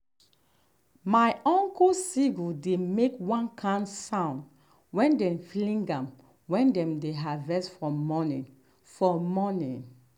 my uncle sickle dey make one kind sound when dem fling am when dem dey harvest for morning. for morning.